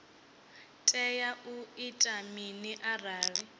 tea u ita mini arali